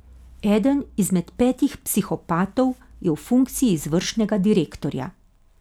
Eden izmed petih psihopatov je v funkciji izvršnega direktorja.